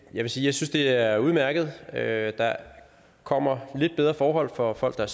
jeg synes det er udmærket at der kommer lidt bedre forhold for folk der